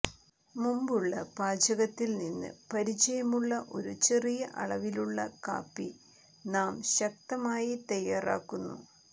മുമ്പുള്ള പാചകത്തിൽ നിന്ന് പരിചയമുള്ള ഒരു ചെറിയ അളവിലുള്ള കാപ്പി നാം ശക്തമായി തയ്യാറാക്കുന്നു